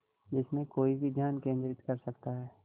जिसमें कोई भी ध्यान केंद्रित कर सकता है